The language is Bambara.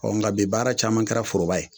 Ɔ nga bi baara caman kɛra foroba ye